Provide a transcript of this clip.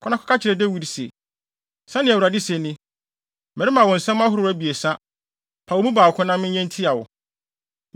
“Kɔ na kɔka kyerɛ Dawid se, ‘Sɛnea Awurade se ni: Merema wo nsɛm ahorow abiɛsa. Paw emu baako na menyɛ ntia wo.’ ”